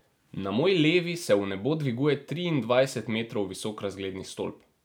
Na moji levi se v nebo dviguje triindvajset metrov visok razgledni stolp.